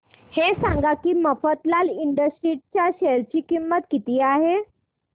हे सांगा की मफतलाल इंडस्ट्रीज च्या शेअर ची किंमत किती आहे